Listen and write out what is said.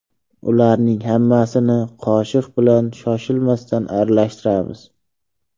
Ularning hammasini qoshiq bilan shoshilmasdan aralashtiramiz.